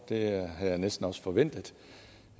det havde jeg næsten også forventet